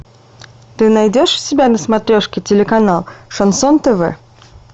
ты найдешь у себя на смотрешке телеканал шансон тв